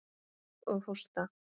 Og hósta.